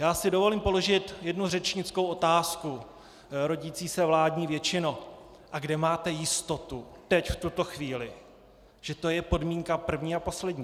Já si dovolím položit jednu řečnickou otázku: Rodící se vládní většino, a kde máte jistotu teď, v tuto chvíli, že to je podmínka první a poslední?